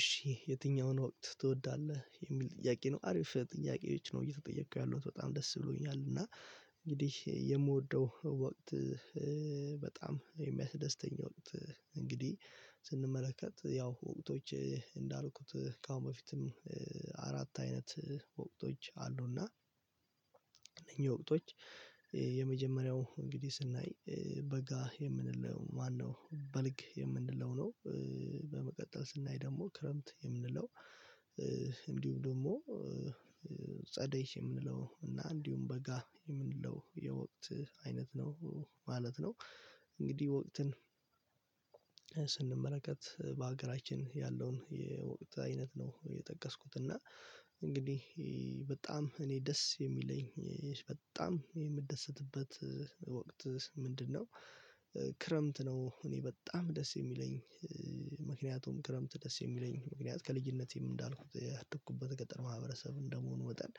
እሺ የትኛውን ወት ትወዳለህ የሚል ጥያቄ ነው አሪፍ ጥያቄዎች ነው እየተጠየኩ ያለሁት በጣም ደስ ብሎኛል እና እንግዲህ የምወደው ወቅት በጣም የሚያስደስተኝ ወቅት እንግዲ ስንመለከት ያው ሁለቶች እንዳልኩት ከአሁን በፊትም አራት አይነት ወቅቶች አሉና እኚህ ወቅቶች የመጀመርያው እንግዲህ ስናይ በጋ የምንለው ማነው በልግ የምንለው ነው በመቀጠል ስናይ ደግሞ ክረምት የምንለው እንዲሁም ደግሞ ጸደይ የምንለው እና እንዲሁም በጋ የምንለው የወቅት አይነት ነው ማለት ነው እንግዲህ ወቅትን ስንመለከት በሀገራችን ያለውን የወቅት አይነት ነው የጠቀስኩት እና እንግዲህ በታም እኔ ደስ የሚለኝ በጣም የምደሰትበት ወቅት ምንድነው ክረምት ነው እኔ በጣም ደስ የሚለኝ ምክንያቱም ክረምት ደስ የሚለኝ ምክንያት ከልጅነቴም እንዳልኩት ያደኩበት ገጠር ማህበረሰብ እንደመሆኑ መጠን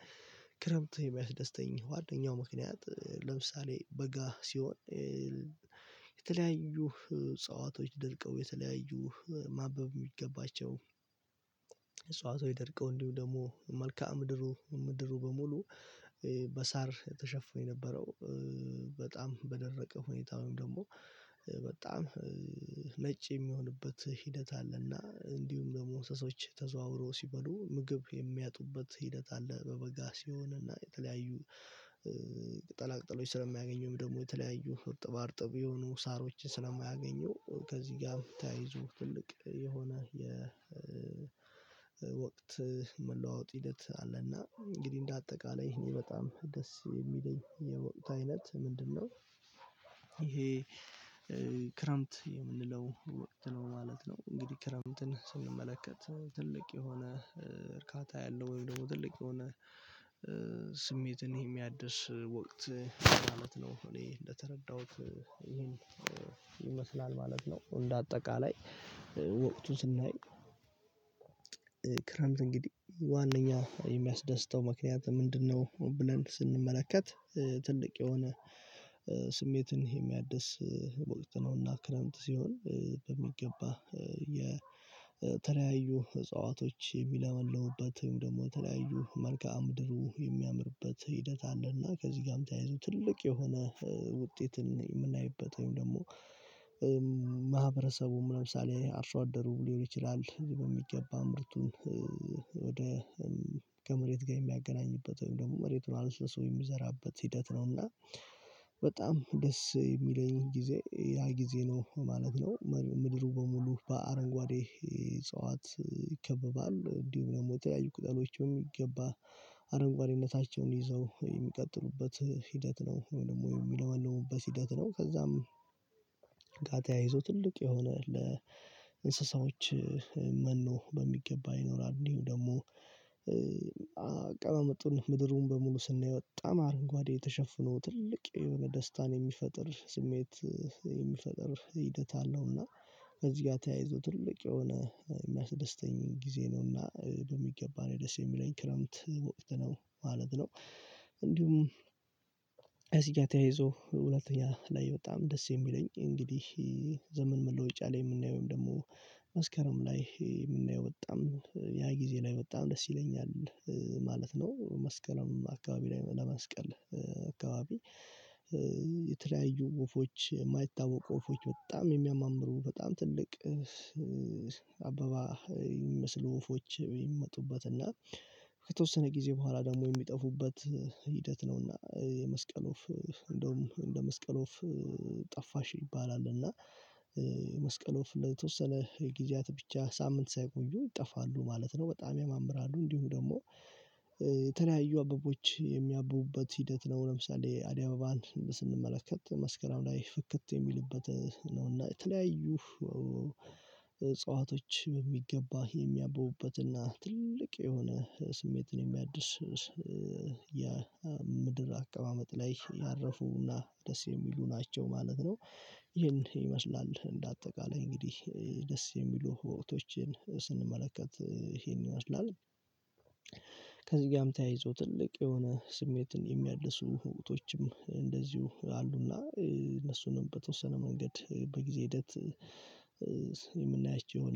ክረምት የሚያስደስተኝ ዋነኛው ምክንያት ለምሳሌ በጋ ሲሆን የተለያዩ እጽዋቶች ደርቀው የተለያዩ ማበብ የሚገባቸው እጽዋቶች ደርቀው እንዲሁ ደግሞ መልከአ ምድሩ ምድሩ በሙሉ በሳር ተሸፍነው የነበረው ተጣም በደረቀ ሁነታ ውይም ደግሞ በጣም ነጭ የሚሆንበት ሂደት አለና። እንዲሁም ደግሞ እንስሳዎች ተዘዋውረው ሲበሉ ምግብ የሚያጡበት ሂደት አለ። በበጋ ሲሆንና የተለያዩ ቅጠላ ቅጠሎች ስለሚያገኙም ደግሞ የተለያዩ እርጥብ እርጥብ የሆኑ ሳሮችን ስለማያገኙ ከዚህ ጋር ተያይዞ ትልቅ የሆነ የወቅት መለዋወጥ ሂደት አለና እንግዲህ እንዳጠቃላይ ይሄን በጣም ደስ የሚለኝ የወቅት አይነት ምንድነው ይሄ ክረምት የምንለው ወቅት ነው ማለት ነው እንግዲህ ክረምትን ስንመለከት ትልቅ የሆነ እርካታ ያለው ወይም ደግሞ ትልቅ የሆነ ስሜትን የሚያድስ ወቅት ነው እኔ እንደተረዳሁት ይሄን ይመሰለ ማለት ነው። እንደ አጠቃላይ ወቅቱን ስናይ ክረምት እንግዲህ ዋነኛ የሚያስደስተው ምክንያት ምንድነው ብለን ስንመለከት ትልቅ የሆነ ስመትን የሚያድስ ወቅት ነውና ክረምት ሲሆን በሚገባ የተለያዩ እጽዋቶች የሚለመልሙበት ወይም ደግሞ የተለያዩ መልክአ ምድሩ የሚያምርበት ሂደት አለና ከዚህ ጋርም ተያይዞ ትልቅ የሆነ ውጤትን የምናይበት ወይም ደግሞ ማህበረሰቡ ለምሳሌ አርሶ አደሩ ሊሆን ይችላል በሚገባ ምርቱን ወደ ከመሬት ጋር የሚያገናኝበት ወይም ደግሞ መሬቱን አለስልሶ የሚዘራበት ሂደት ነው እና በጣም ደስ የሚለኝ ጊዜ ያ ጊዜ ነው ማለት ነው። ምድሩ በሙሉ በአረንጓዴ እጽዋት ይከበባል። እንዲሁም ደግሞ የተለያዩ ቅጠሎች በሚገባ አረንጓዴነታቸው ይዘው የሚቀጥሉበት ሂደት ነው። ወይም ደግሞ የሚለመልሙበት ሂደት ነው ከዛም ጋር ተያይዞ ትልቅ የሆነ ለእንስሳዎች መኖ በሚገባ ይኖራል እንዲሁ ደግሞ አቀማመጡን ምድሩን በሙሉ ስናይ በጣም አረንጓዴ የተሸፍኖ ትልቅ የሆነ ደስታን የሚፈጥር ስሜት የሚፈጥር ሂደት አለው እና ከዚህ ጋር ተያይዞ ትልቅ የሆነ የሚያስደስተኝ ጊዜ ነውና በሚገባ ነው ደስ የሚለኝ። ክረምት ወቅት ነው ማለት ነው እንዲሁም እዚህ ጋር ተያይዞ ሁለተኛ ላይ በጣም ደስ የሚለኝ እንግዲህ ዘመን መለወጫ ላይ የምናየው ወይም ደግሞ መስከረም ላይ የምናየው በጣም ያ ጊዜ ላይ በጣም ደስ ይለኛል ማለት ነው መስቀልም አካባቢ ላይ ለመስቀል አካባቢ የተለያዩ ወፎች የማይታወቁ ወፎች በጣም የሚያማምሩ በጣም ትልቅ አበባ የሚመስሉ ወፎች የሚመጡበት እና ከተወሰነ ጊዜ ሁሃላ ደግሞ የሚጠፉበት ሂደት ነውና የመስቀል ወፍ እንዲያውም እንደ መስቀል ወፍ ጠፋሽ ይባላል እና የመስቀል ወፍ ለተወሰነ ጊዜያት ብቻ ሳምንት ሳይቆዩ ይጠፋሉ ማለት ነው። በጣም ያማምራሉ እንዲሁ ደግሞ የተለያዩ አበቦች የሚያብቡበት ሂደት ነው። ለምሳሌ አደይ አበባን ስንመለከት መስከረም ላይ ፍክት የሚልበት ነው እና የተለያዩ እጽዋቶች በሚገባ የሚያብቡበትና ትልቅ የሆነ ስሜትን የሚያድስ የምድር አቀማመጥ ላይ ያረፉና ደስ የሚሉ ናቸው ማለት ነው ይሀን ይመስላል እንደ አጠቃላይ እንግዲህ ደስ የሚሉ ወቅቶችን ስንመለከት ይሄን ይመስላል ከዚህም ጋር ተያይዞ ትልቅ የሆነ ስሜትን የሚያድሱ ወቅቶችም እንደዚሁ አሉና እነሱንም በትወሰነ መንገድ በጊዜው ሂደት የምናያቸው ይሆናል